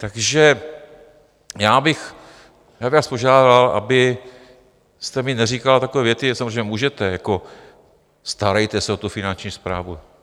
Takže já bych vás požádal, abyste mi neříkala takové věty - samozřejmě můžete - jako starejte se o tu Finanční správu.